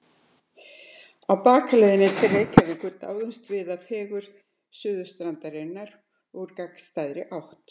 Á bakaleiðinni til Reykjavíkur dáumst við að fegurð Suðurstrandarinnar úr gagnstæðri átt.